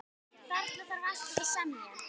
Þarna þarf alltaf að semja.